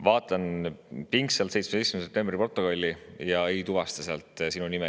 Vaatan pingsalt 17. septembri protokolli, aga ei tuvasta sealt sinu nime.